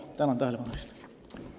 Tänan tähelepanu eest!